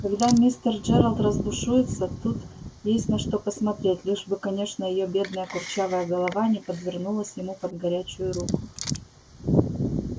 когда мистер джералд разбушуется тут есть на что посмотреть лишь бы конечно её бедная курчавая голова не подвернулась ему под горячую руку